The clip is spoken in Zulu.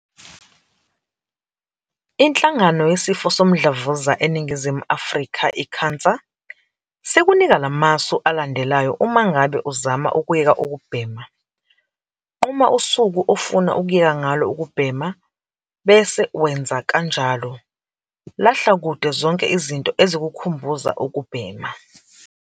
INhlangano Yesifo Somdlavuza eNingizimu Afrika, i-CANSA, sikunika lamasu alandelayo uma ngabe uzama ukuyeka ukubhema - Nquma usuku ofuna ukuyeka ngalo ukubhema bese wenza kanjalo. Lahla kude zonke izinto ezikukhumbuza ukubhema.